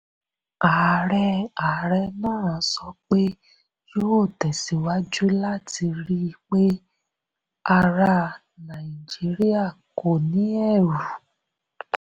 ààrẹ ààrẹ náà sọ pé yóò tẹ̀síwájú láti rí i pé ará nàìjíríà kò ní ẹ̀rù.